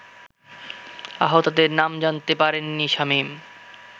আহতদের নাম জানাতে পারেননি শামীম